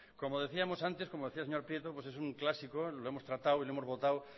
como decíamos antes como decía el señor prieto es un clásico lo hemos tratado y lo hemos votado